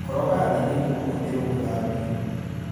Koroga thĩ nĩguo ũhũthĩrwo gũthambia